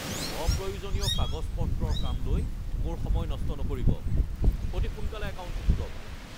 অপ্ৰয়োজনীয় কাগজ-পত্ৰৰ কাম লৈ মোৰ সময় নষ্ট নকৰিব। অতি সোনকালে একাউণ্টটো খোলক!